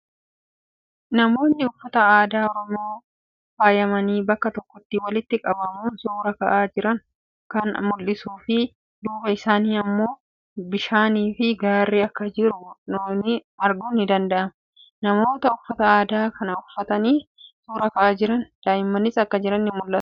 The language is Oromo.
Namoota uffata aadaa Oromoon faayamanii bakka tokkotti walitti qabamuun suuraa ka'aa jiran kan mul'isuu fii duuba isaanii immoo bishaanii fii gaarri akka jiru arguun ni danda'ama. Namoota uffata aadaa Oromoo uffatanii suuraa ka'aa jiran duuba daa'immanis akka jiran ni mul'atu.